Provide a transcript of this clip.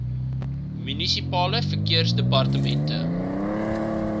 munisipale verkeersdepartemente